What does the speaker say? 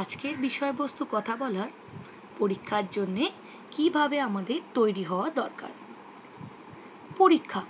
আজকের বিষয়বস্ত কথা বলার পরীক্ষার জন্যে কিভাবে আমাদের তৈরী হওয়া দরকার। পরীক্ষা